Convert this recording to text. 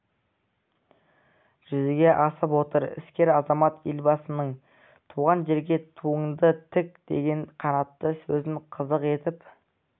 жүзеге асып отыр іскер азамат елбасының туған жерге туыңды тік деген қанатты сөзін қазық етіп